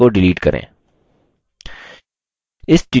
इस link को delete करें